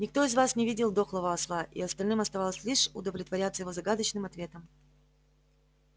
никто из вас не видел дохлого осла и остальным оставалось лишь удовлетворяться его загадочным ответом